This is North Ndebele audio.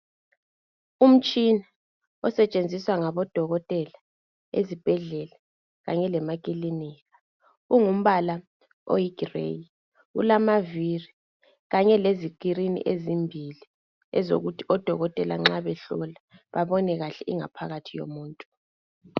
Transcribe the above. Umtshina osetshenziswa ngabodokotela ezibhedlela kanye lasemakilinika ungumbala oyi grey ulamavili kanye lezi screen ezimbili ezokuthi odokotela nxa behlola babone kahle ingaphakathi yomuntu.